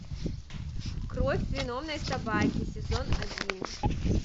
кровь виновной собаки сезон один